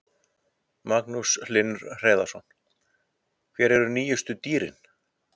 Magnús Hlynur Hreiðarsson: Hver eru nýjustu dýrin?